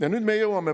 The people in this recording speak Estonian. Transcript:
Ja nüüd me jõuame…